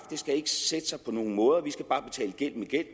skal sætte sig på nogen måder vi skal bare betale gæld med gæld